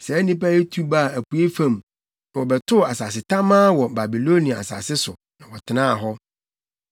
Saa nnipa yi tu baa apuei fam no, wɔbɛtoo asase tamaa wɔ Babilonia asase so, na wɔtenaa hɔ.